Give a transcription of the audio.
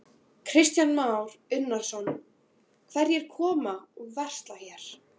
Kristján Már Unnarsson: Hverjir koma og versla hér?